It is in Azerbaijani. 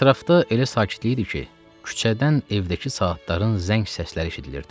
Ətrafda elə sakitlik idi ki, küçədən evdəki saatların zəng səsləri eşidilirdi.